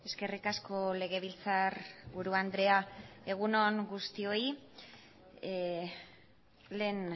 eskerrik asko legebiltzarburu andrea egun on guztioi lehen